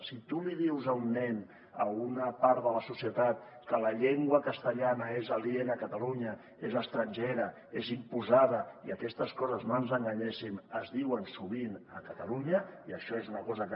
si tu li dius a un nen a una part de la societat que la llengua castellana és aliena a catalunya és estrangera és imposada i aquestes coses no ens enganyéssim es diuen sovint a catalunya i això és una cosa que